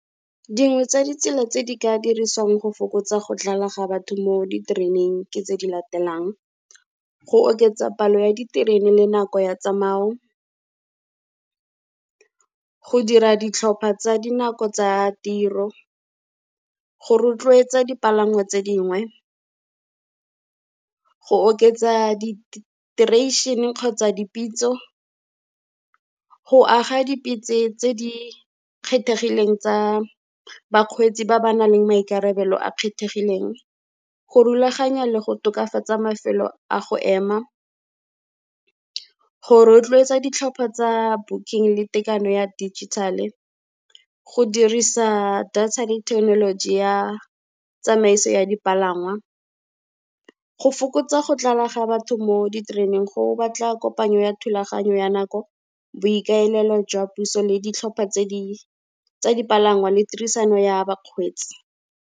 Dingwe tsa ditsela tse di ka dirisiwang go fokotsa go tlala ga batho mo ditereneng ke tse di latelang, go oketsa palo ya diterene le nako ya tsamayo, go dira ditlhopha tsa dinako tsa tiro, go rotloetsa dipalangwa tse dingwe, go oketsa kgotsa dipitso, go aga dipitsi tse di kgethegileng tsa bakgweetsi ba ba nang le maikarabelo a kgethegileng, go rulaganya le go tokafatsa mafelo a go ema, go rotloetsa ditlhopha tsa booking le tekano ya digital-e, go dirisa data le thekenoloji ya tsamaiso ya dipalangwa. Go fokotsa go tlala ga batho mo ditereneng go batla kopanyo ya thulaganyo ya nako, boikaelelo jwa puso le ditlhopha tsa dipalangwa le tirisano ya bakgweetsi.